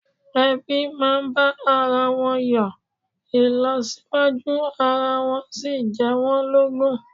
Ẹbí máa ń bá ara wọn yọ, ìlọsíwájú ara wọn sì jẹ́ wọ́n lógún